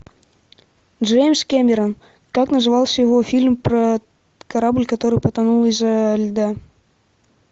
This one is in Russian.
джеймс кэмерон как назывался его фильм про корабль который потонул из за льда